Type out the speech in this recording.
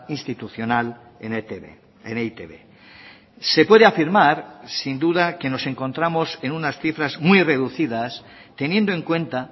institucional en etb en eitb se puede afirmar sin duda que nos encontramos en unas cifras muy reducidas teniendo en cuenta